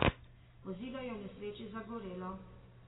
Vozilo je v nesreči zagorelo.